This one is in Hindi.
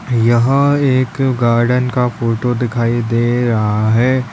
यह एक गार्डन का फोटो दिखाई दे रहा है।